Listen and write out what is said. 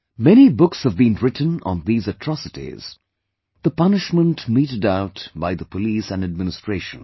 Many books have been written on these atrocities; the punishment meted out by the police and administration